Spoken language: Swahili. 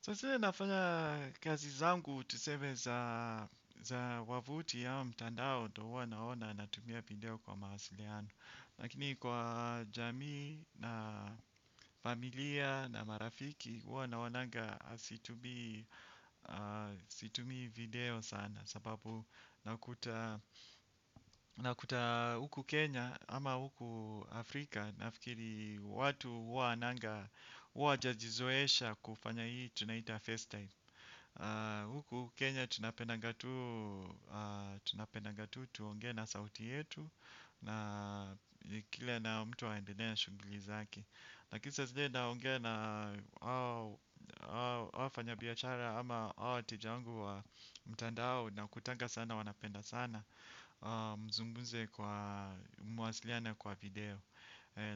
Sasa hii nafanya kazi zangu tuseme za wavuti au mtandao ndo huwa naona natumia video kwa mawasiliano. Lakini kwa jamii na familia na marafiki huwa naonanga situmii situmii video sana. Sababu nakuta huku Kenya ama huku Afrika nafikiri watu huwa hawananga, huwa hawajajizoesha kufanya hii tunaita face time. Huku Kenya tunapendanga tuu tunapendanga tuu tuongee na sauti yetu na kile na mtu aendelee na shughli zake lakini saa zile naongea na hao wafanyabiashara ama hao wateja wangu wa mtandao nakutanga sana wanapenda sana. Mzungumze kwa muwasiliane kwa video.